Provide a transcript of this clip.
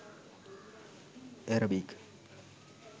arabic